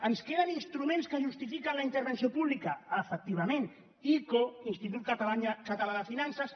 ens queden instruments que justifiquen la intervenció pública efectivament ico institut català de finances